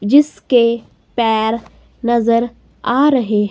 जिसके पैर नजर आ रहे--